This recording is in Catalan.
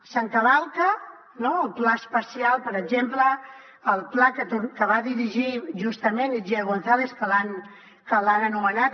s’hi encavalca el pla especial per exemple el pla que va dirigir justament itziar gonzález que l’han anomenat